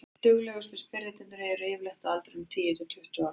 duglegustu spyrjendurnir eru yfirleitt á aldrinum tíu til tuttugu ára